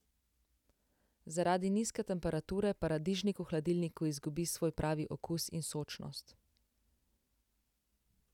Zaradi nizke temperature paradižnik v hladilniku izgubi svoj pravi okus in sočnost.